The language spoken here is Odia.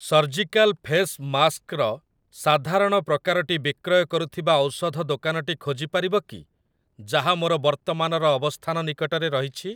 ସର୍ଜିକାଲ୍ ଫେସ୍ ମାସ୍କ୍ ର ସାଧାରଣ ପ୍ରକାରଟି ବିକ୍ରୟ କରୁଥିବା ଔଷଧ ଦୋକାନଟି ଖୋଜିପାରିବ କି ଯାହା ମୋର ବର୍ତ୍ତମାନର ଅବସ୍ଥାନ ନିକଟରେ ରହିଛି ?